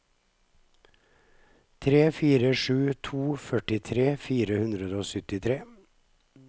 tre fire sju to førtitre fire hundre og syttitre